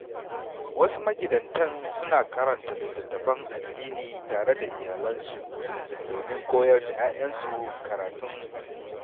Wasu magidantan suna karanta littattafan addini tare da iyalansu domin koyar da ‘ya’yansu karatun addini.